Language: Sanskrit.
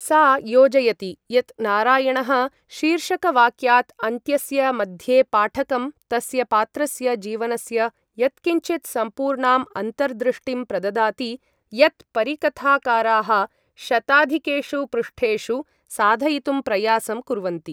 सा योजयति यत् नारायणः शीर्षकवाक्यात् अन्त्यस्य मध्ये पाठकं तस्य पात्रस्य जीवनस्य यत्किञ्चिद् सम्पूर्णाम् अन्तर्दृष्टिं प्रददाति यत् परिकथाकाराः शताधिकेषु पृष्ठेषु साधयितुं प्रयासं कुर्वन्ति।